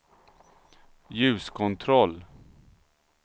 ljuskontroll